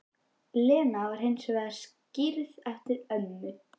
Lena var hins vegar skírð eftir ömmu